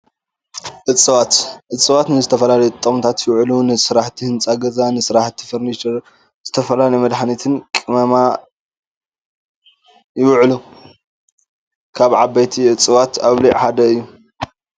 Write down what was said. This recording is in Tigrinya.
እፀዋት፡-እፀዋት ንዝተፈላለዩ ጥቕምታት ይውዕሉ፡፡ ንስራሕቲ ህንፃ ገዛ ፣ ንስራሕቲ ፈርኒቸርን ንዝተፈላለዩ መድሓኒት ቅመማን ይውዕሉ፡፡ ካብ ዓበይቲ እፀዋት ኣውሊዕ ሓደ እዩ፡፡